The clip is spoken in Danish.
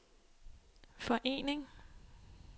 forening